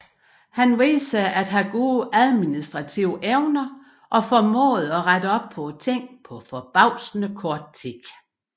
Han viste sig at have gode administrative evner og formåede at rette op på tingene på forbavsende kort tid